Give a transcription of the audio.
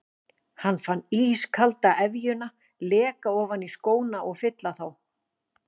Hann fann ískalda efjuna leka ofan í skóna og fylla þá.